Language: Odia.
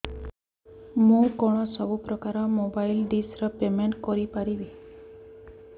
ମୁ କଣ ସବୁ ପ୍ରକାର ର ମୋବାଇଲ୍ ଡିସ୍ ର ପେମେଣ୍ଟ କରି ପାରିବି